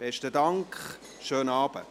Besten Dank, schönen Abend.